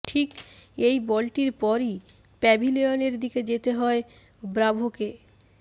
ঠিক এই বলটির পরই প্যাভিলিয়নের দিকে যেতে হয় ব্রাভোকে